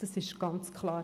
Das ist ganz klar.